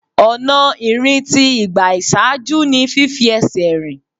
Ọ̀nà ìrìn tí ìgbà ìṣáájú ni fífi ẹsẹ̀ rìn.